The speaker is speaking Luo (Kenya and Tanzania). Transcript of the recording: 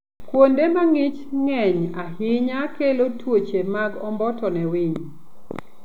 Kuonde ma ng'ich ng'eny ahinya kelo tuoche mag omboto ne winy.